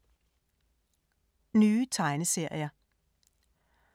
Nye tegneserier